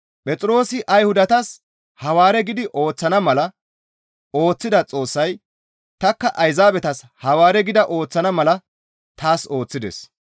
Phexroosi Ayhudatas Hawaare gidi ooththana mala ooththida Xoossay tanikka Ayzaabetas Hawaare gida ooththana mala taas ooththides.